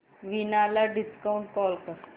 वीणा ला video call कर